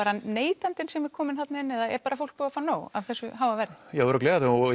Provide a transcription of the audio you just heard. neytandinn kominn þarna inn eða er fólk búið að fá nóg af þessu háa verði já örugglega og